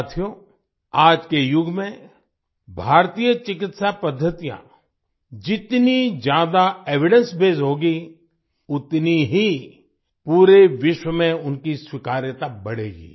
साथियो आज के युग में भारतीय चिकित्सा पद्दतियाँ जितनी ज्यादा एविडेंसबेस्ड होंगी उतनी ही पूरे विश्व में उनकी स्वीकार्यता बढ़ेगी